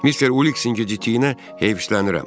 Mister Uliksin gecikdiyinə heyiflənirəm.